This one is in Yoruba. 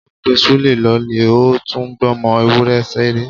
Wọ́n pè Súlè lólè ó tún gbọmọ ewúrẹ́ ṣeré.